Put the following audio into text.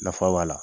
Nafa b'a la